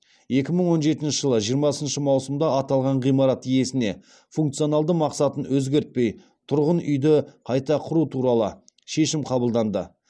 екі мың он жетінші жылы жиырмасыншы маусымда аталған ғимарат иесіне функционалды мақсатын өзгертпей тұрғын үйді қайта құру туралы шешім қабылданды